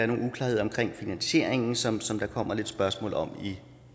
nogle uklarheder omkring finansieringen som som der kommer lidt spørgsmål om i